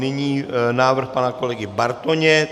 Nyní návrh pana kolegy Bartoně.